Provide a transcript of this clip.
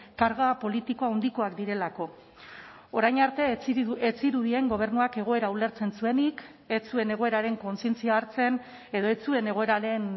karga politiko handikoak direlako orain arte ez zirudien gobernuak egoera ulertzen zuenik ez zuen egoeraren kontzientzia hartzen edo ez zuen egoeraren